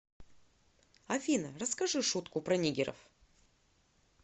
афина расскажи шутку про нигеров